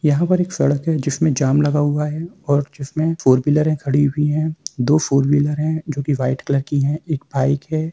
यहाँ पर एक सड़क है जिसमें जाम लगा हुआ है और जिसमें फोर व्हीलर है खड़ी हुई है दो फोर व्हीलर है जो कि वाइट कलर की है और एक बाइक है।